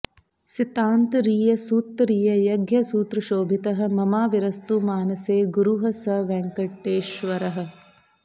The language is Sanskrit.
सितान्तरीय सूत्तरीय यज्ञसूत्रशोभितः ममाविरस्तु मानसे गुरुः स वेङ्कटेश्वरः